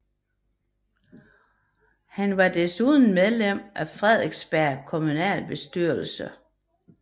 Han var desuden medlem af Frederiksberg Kommunalbestyrelse